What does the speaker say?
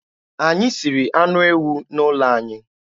Anyị siri anụ ewu n'ụlọ anyị.